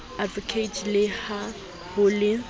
advocate le ha ho le